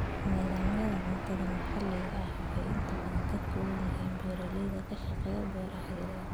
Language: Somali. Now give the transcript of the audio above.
Nidaamyada cuntada maxaliga ahi waxay inta badan ka kooban yihiin beeralayda ka shaqeeya beero yaryar.